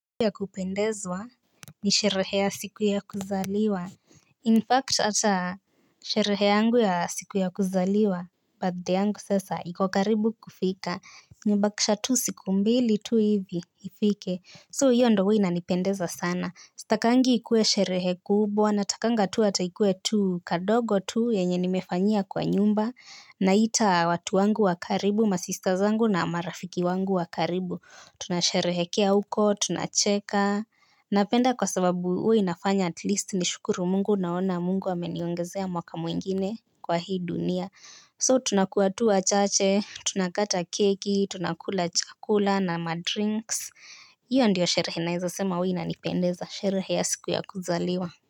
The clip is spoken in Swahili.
Ya kupendezwa ni sherehe ya siku ya kuzaliwa In fact ata sherehe yangu ya siku ya kuzaliwa Birthday yangu sasa iko karibu kufika nimebakisha tu siku mbili tu hivi ifike So hiyo ndo huwa inanipendeza sana. Sitakangi ikuwe sherehe kubwa natakanga tu ata ikue tu kadogo tu yenye nimefanyia kwa nyumba. Naita watu wangu wa karibu masister zangu na marafiki wangu wa karibu. Tunasherehekea huko, tunacheka. Napenda kwa sababu huwa inafanya at least nishukuru mungu naona mungu ameniongezea mwaka mwingine kwa hii dunia So tunakua tu wachache, tunakata keki, tunakula chakula na madrinks. Iyo ndiyo sherehe naeza sema huwa inanipendeza, sherehe ya siku ya kuzaliwa.